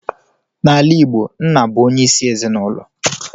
N'ala Igbo, nna bụ onye isi ezinulo.